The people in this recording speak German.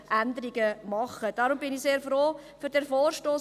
Deshalb bin ich sehr froh über diesen Vorstoss.